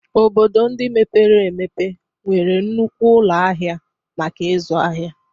Obodo ndị mepere emepe nwere nnukwu ụlọ ahịa maka ịzụ ahịa